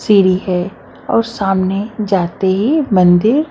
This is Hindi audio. सीढ़ी है और सामने जाते ही मंदिर--